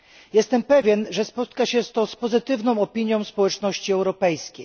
Jestem pewien, że spotka się to z pozytywną opinią społeczności europejskiej.